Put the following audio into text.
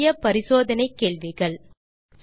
சுய சோதனைக்கு தீர்வு காண சில கேள்விகள்